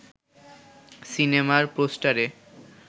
সিনেমার পোস্টারে